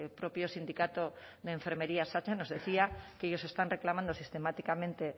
propio sindicato de enfermería satse nos decía que ellos están reclamando sistemáticamente